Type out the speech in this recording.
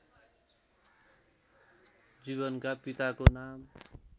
जीवनका पिताको नाम